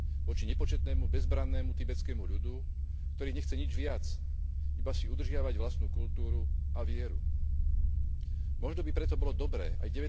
voči nepočetnému bezbrannému tibetskému ľudu, ktorý nechce nič viac, iba si udržiavať vlastnú kultúru a vieru. Možno by preto bolo dobré aj